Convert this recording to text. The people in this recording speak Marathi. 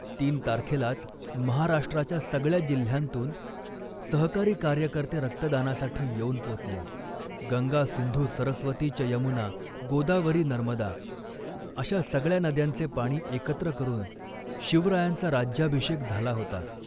तीन तारखेलाच महाराष्ट्राच्या सगळ्या जिल्ह्यांतून सहकारी कार्यकर्ते रक्तदानासाठी येऊन पोचले. गंगा सिंधू सरस्वती च यमुना, गोदावरी नर्मदा' अशा सगळ्या नद्यांचे पाणी एकत्र करून शिवरायांचा राज्याभिषेक झाला होता